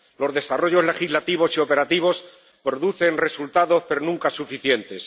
Los desarrollos legislativos y operativos producen resultados, pero nunca suficientes.